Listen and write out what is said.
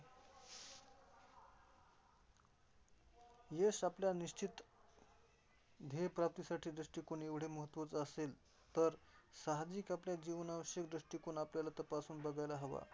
यश आपल्या निश्चित ध्येय प्राप्तिसाठी दृष्टीकोन एवढे महत्त्वाचा असेल, तर सहाजिक आपल्या जीवना विषयक दृष्टीकोन आपल्याला तपासून बघायला हवा.